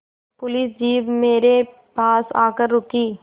police jeep मेरे पास आकर रुकी